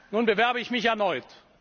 Nun bewerbe ich mich erneut.